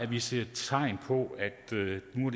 vi ser tegn på at det nu